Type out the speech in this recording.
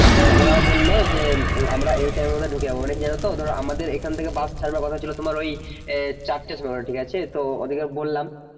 ওরা বলল যে আমরা এই time এর মধ্যে ঢুকে যাব মানে কি জানো তো আমাদের এখান থেকে বাস ছাড়বার কথা ছিল তোমার ওই চারটার সময় ঠিক আছে তো, ও দিকে বললাম